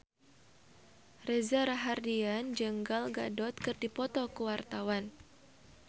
Reza Rahardian jeung Gal Gadot keur dipoto ku wartawan